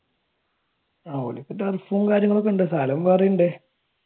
ഓർക്ക് turf ഉം കാര്യങ്ങളും ഉണ്ട് കാലം പോയതറിയണ്ടേ?